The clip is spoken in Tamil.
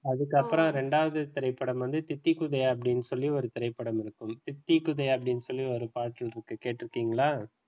அதுக்கப்புறம் இரண்டாவது திரைப்படம் வந்து தித்திக்குதே அப்படி என்று சொல்லி ஒரு திரைப்படம் இருக்கும் தித்திக்குதே அப்டின்னு சொல்லிட்டு ஒரு பாட்டு இருக்கு கேட்டு இருக்கீங்களா?